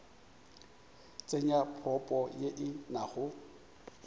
tsenya propo ye e nago